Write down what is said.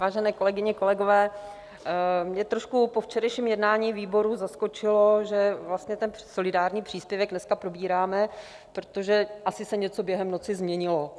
Vážené kolegyně, kolegové, mě trošku po včerejším jednání výboru zaskočilo, že vlastně ten solidární příspěvek dneska probíráme, protože se asi něco během noci změnilo.